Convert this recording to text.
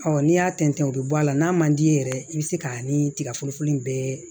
n'i y'a tɛntɛn o bɛ bɔ a la n'a man d'i ye yɛrɛ i bɛ se ka ni tigaforoko nin bɛɛ